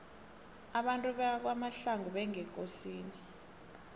abantu bakwamahlangu ngebekosini